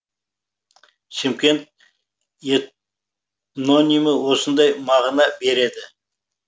шымкент эт нонимі осындай мағына береді